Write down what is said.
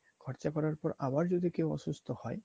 খরচা করার পর আবার যদি কেউ অসুস্থ হয়